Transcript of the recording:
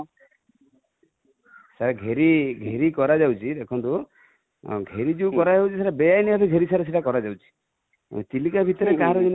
ସାର ଘେରି, ଘେରି କରା ଯାଉଛି ଦେଖନ୍ତୁ, ଘେରି ଯଉ କରା ଯାଉଛି ସେଟା ବେଆଇନ ଭାବେ ଘେରି କରା ଯଉଛି | ଚିଲିକା ଭିତରେ କାହାର ସେମିତି